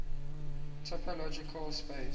topological space